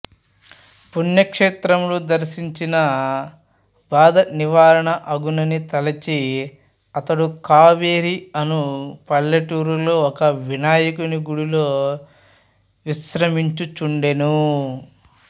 పుణ్యక్షేత్రములు దర్శించిన బాధ నివారణ అగునని తలంచి అతడు కావేరి అను పల్లెటూరిలో ఒక వినాయకుని గుడిలో విశ్రమించుచుండెను